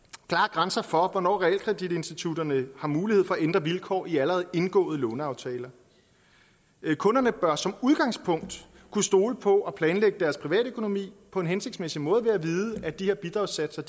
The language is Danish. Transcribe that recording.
grænser for hvornår realkreditinstitutterne har mulighed for at ændre vilkår i allerede indgåede låneaftaler kunderne bør som udgangspunkt kunne stole på at kunne planlægge deres privatøkonomi på en hensigtsmæssig måde ved at vide at de her bidragssatser